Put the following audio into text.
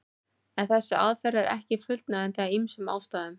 En þessi aðferð er ekki fullnægjandi af ýmsum ástæðum.